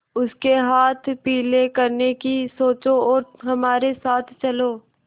उसके हाथ पीले करने की सोचो और हमारे साथ चलो